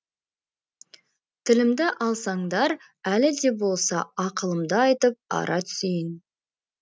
тілімді алсаңдар әлі де болса ақылымды айтып ара түсейін